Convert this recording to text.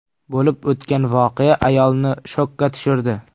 Bo‘lib o‘tgan voqea ayolni shokka tushirdi.